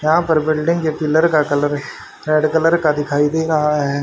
यहां पर बिल्डिंग के पिलर का कलर रेड कलर का दिखाई दे रहा है।